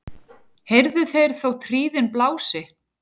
heyrðu þeir þótt hríðin blási